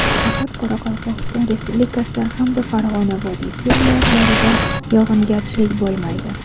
Faqat Qoraqalpog‘iston Respublikasi hamda Farg‘ona vodiysi viloyatlarida yog‘ingarchilik bo‘lmaydi.